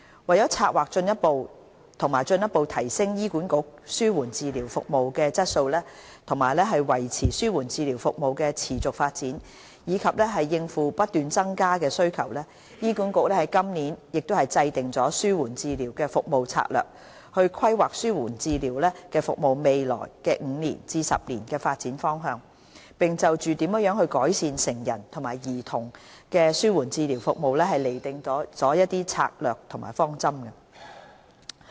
為策劃和進一步提升醫管局紓緩治療服務的質素，維持紓緩治療服務的持續發展，以及應付不斷增加的需求，醫管局在今年制訂了《紓緩治療服務策略》，規劃紓緩治療服務在未來5至10年的發展方向，並就如何改善成人和兒童的紓緩治療服務釐定了策略方針。